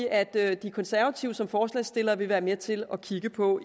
at at de konservative som forslagsstillere vil være med til at kigge på